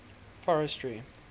forestry